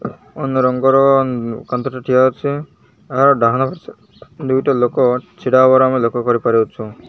ଅନ୍ୟ ରଙ୍ଗର କାନ୍ଥ ଟେ ଠିଆ ଅଛି ଆଉ ଡାହାଣ ଦୁଇଟା ଲୋକ ଛିଡ଼ା ହବାର ଆମେ ଲକ୍ଷ୍ୟ କରିପାରୁଅଛୁଁ।